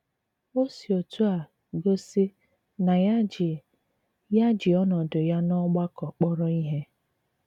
O s̀ì òtù à gòsí nà ya jì ya jì ònòdù ya n'ọ̀gbàkọ k̀pọ̀rọ̀ ìhé.